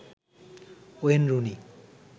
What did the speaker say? Wayne Rooney